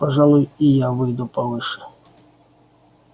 пожалуй и я выйду повыше